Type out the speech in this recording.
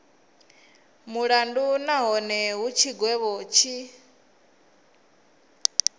mulandu nahone hu tshigwevho tshi